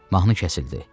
Mahnı kəsildi.